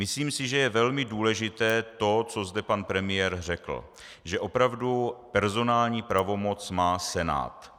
Myslím si, že je velmi důležité to, co zde pan premiér řekl, že opravdu personální pravomoc má Senát.